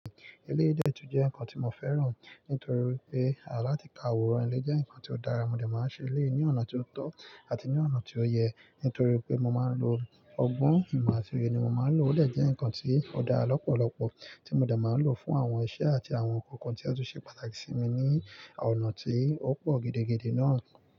Eléyi dẹ́ tun jẹ́ nǹkan tí mo fẹ́ràn. Nítorí wi pé àlati ka àwòrán ilé jẹ́ nǹkan tí ó dára. Mo de máa ń ṣe eléyi ní ọ̀nà tí ó tọ́ àti ní ọ̀nà tí ó yẹ. Nítorí pé mo máa ń lo ọgbọ́n, ìma àtí òye ni mo máa ń lò. Ó dè jẹ́ nǹkan tí ó dára lọ́pọ̀lọ́pọ̀ tí mo de máa ń lò fún àwọn iṣẹ́ àti àwọn nǹkan-kan tí ó tún ṣe pàtàkì sí mi ní ọ̀nà tí ó pọ̀ gidigidi náà.